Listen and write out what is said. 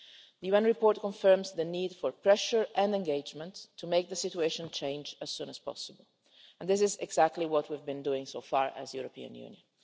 The UN report confirms the need for pressure and engagement to make the situation change as soon as possible, and this is exactly what we've been doing so far as the European Union.